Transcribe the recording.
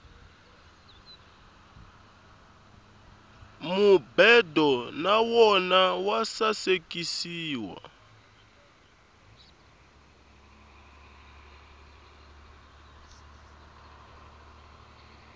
mubedo na wona wa sasekisiwa